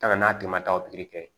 Tagama n'a tɛmɛn'a kan